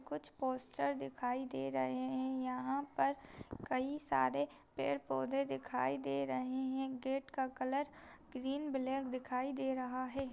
कुछ पोस्टर दिखाई दे रहे हैं यहां पर कई सारे पेड़ पौधे दिखाई दे रहे हैं गेट का कलर ग्रीन ब्लैक दिखाई दे रहा है।